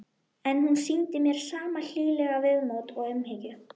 En hún sýndi mér sama hlýlega viðmót og umhyggju.